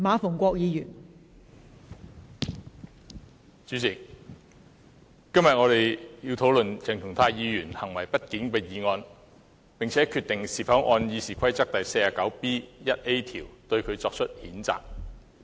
代理主席，今天我們要討論鄭松泰議員行為不檢的議案，並決定是否按《議事規則》第 49B 條，對他作出譴責。